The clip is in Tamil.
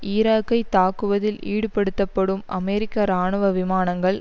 ஈராக்கை தாக்குவதில் ஈடுபடுத்தப்படும் அமெரிக்க இராணுவ விமானங்கள்